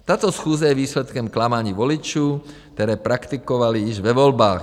Tato schůze je výsledkem klamání voličů, které praktikovali již ve volbách.